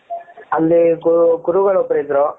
ಅಲ್ಲಿ ಗುರುಗಳು ಒಬ್ಬರು ಇದ್ರೂ.